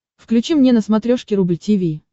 включи мне на смотрешке рубль ти ви